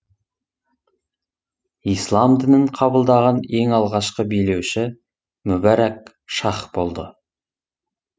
ислам дінін қабылдаған ең алғашқы билеуші мүбәрак шах болды